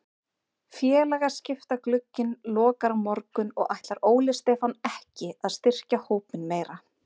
Félagaskiptaglugginn lokar á morgun og ætlar Óli Stefán ekki að styrkja hópinn meira.